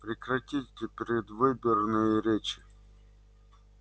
прекратите предвыборные речи